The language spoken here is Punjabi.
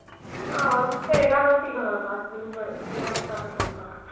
ਏਹੋ ਤੇਰੇ ਘਰ ਰੋਟੀ ਖਾਣ ਆਵਾਂਗੇ